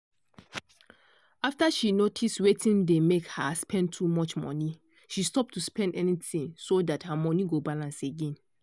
after she notice wetin dey make her spend too much money she stop to spend anything so that her money go balance again/